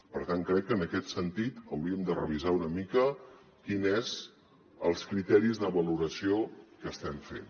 per tant crec que en aquest sentit hauríem de revisar una mica quin són els criteris de valoració que estem fent